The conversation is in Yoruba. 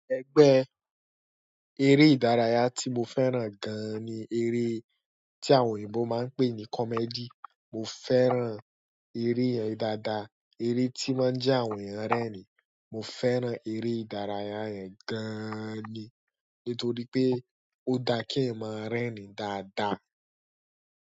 Ẹgbẹ́ eré ìdárayá tí mo fẹ́ràn gan-an ni eré tí àwọn òyìnbó máa ń pè ní comedy. Mo fẹ́ràn eré yẹn dáadáa. Eré tí mo je àwọn èyàn o rérìn mo fẹ́ràn eré ìdárayá yẹn gán ni nítorí pé o dáa kí èyàn mo rẹ́rìn dáadáa.